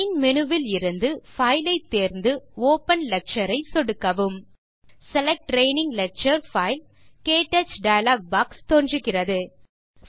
main menu விலிருந்து file ஐ தேர்ந்து ஒப்பன் லெக்சர் ஐ சொடுக்கவும் செலக்ட் ட்ரெய்னிங் லெக்சர் பைல் - க்டச் டயலாக் பாக்ஸ் தோன்றுகிறது